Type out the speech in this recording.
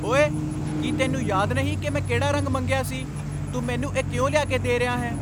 ਓਏ, ਕੀ ਤੈਨੂੰ ਯਾਦ ਨਹੀਂ ਕਿ ਮੈਂ ਕਿਹੜਾ ਰੰਗ ਮੰਗਿਆ ਸੀ? ਤੂੰ ਮੈਨੂੰ ਇਹ ਕਿਉਂ ਲਿਆ ਕੇ ਦੇ ਰਿਹਾ ਹੈ?